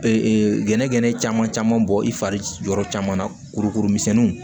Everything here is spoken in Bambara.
Ee gɛnɛgɛnɛ caman bɔ i fari yɔrɔ caman na kurukuru misɛnniw